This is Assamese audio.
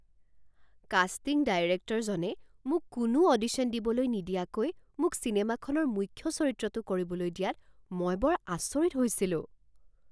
কাষ্টিং ডাইৰেক্টৰজনে মোক কোনো অডিশ্যন দিবলৈ নিদিয়াকৈ মোক চিনেমাখনৰ মুখ্য চৰিত্ৰটো কৰিবলৈ দিয়াত মই বৰ আচৰিত হৈছিলোঁ।